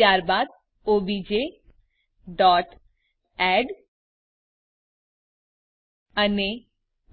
ત્યારબાદObjadd અને